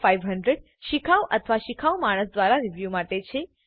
500 શિખાઉ અથવા શિખાઉ માણસ દ્વારા રીવ્યુ માટે છે